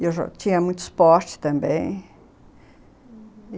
Eu já tinha muito esporte também, uhum.